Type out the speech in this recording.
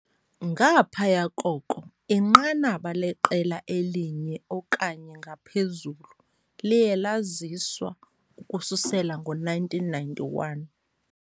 Ngaphaya koko, inqanaba leqela elinye okanye ngaphezulu liye laziswa ukususela ngo-1991.